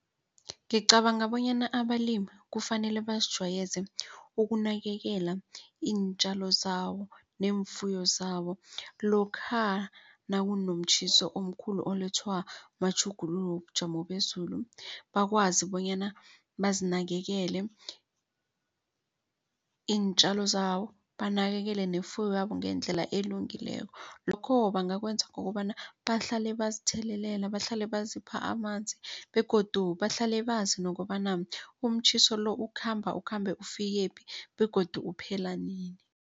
Ngicabanga bonyana abalimi kufanele bazijwayeze ukunakekela iintjalo zabo neemfuyo zabo. Lokha nakunomtjhiso omkhulu olethwa matjhuguluko wobujamo bezulu bakwazi bonyana bazinakekele iintjalo zawo banakekele nefuyo yabo ngendlela elungileko. Lokho ebangakwenza kukobana bahlale bazithelelela bahlale bazipha amanzi begodu bahlale bazi nokobana umtjhiso lo ukhamba ukhambe ufikephi begodu uphela nini.